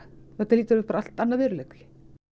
þetta hlýtur að bara allt annar veruleiki